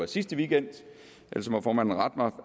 sidste weekend ellers må formanden rette mig